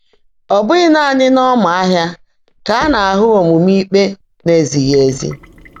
Ọ́ bụ́ghị́ nàní n’ọ́mà́ áhị́a kà á ná-áhụ́ ómuumé íkpé ná-èzíghị́ ézí.